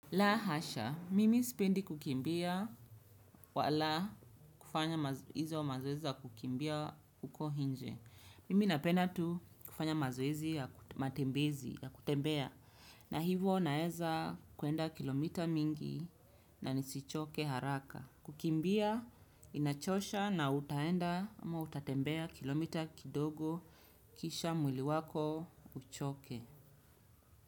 La hasha, mimi sipendi kukimbia wala kufanya mazoezi wa mazoezi wa kukimbia uko hinje. Mimi napenda tu kufanya mazoezi ya matembezi ya kutembea. Na hivo naweza kuenda kilomita mingi na nisichoke haraka. Kukimbia inachosha na utaenda ama utatembea kilomita kidogo kisha mwili wako uchoke.